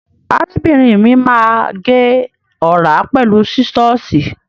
Arábìnrin mi má agé ọ̀rá pẹ̀lú sísọ́ọ̀sì.